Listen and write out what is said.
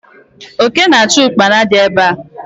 Oke na achu Ụkpana di ebe a